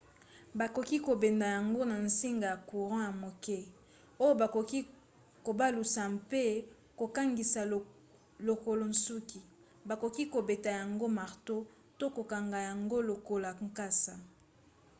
bakoki kobenda yango na nsinga ya courant ya moke oyo bakoki kobalusa mpe kokangisa lokola nsuki. bakoki kobeta yango marto to kokanga yango lokola nkasa